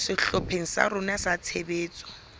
sehlopheng sa rona sa tshebetso